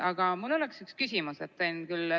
Aga mul oleks üks küsimus.